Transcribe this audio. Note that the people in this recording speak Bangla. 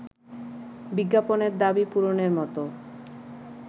বিজ্ঞাপনের দাবি পূরণের মতো